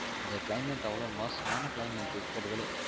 இந்த climate அவளோ மோசமான climate இருக்குரதுலே